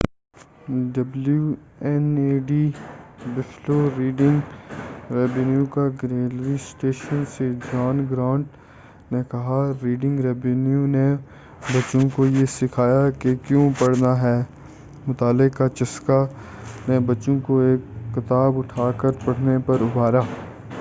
W N E D Buffalo Reading Rainbow کا گھریلو station سے جان گرانٹ نے کہا: ”ریڈنگ رینبو نے بچوں کو یہ سکھایا کہ کیوں پڑھنا ہے ۔۔۔ مطالعے کا چسکا ۔۔۔ [پروگرام] نے بچوں کو ایک کتاب اٹھاکر پڑھنے پر ابھارا۔